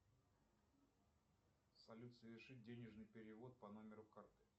салют совершить денежный перевод по номеру карты